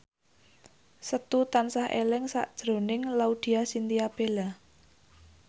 Setu tansah eling sakjroning Laudya Chintya Bella